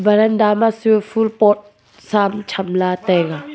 waranda ma chu phul pot sam tham lah taiga.